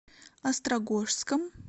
острогожском